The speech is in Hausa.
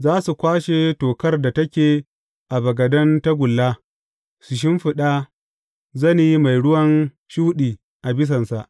Za su kwashe tokar da take a bagaden tagulla, su shimfiɗa zane mai ruwan shuɗi a bisansa.